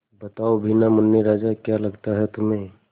बताओ भी न मुन्ने राजा क्या लगता है तुम्हें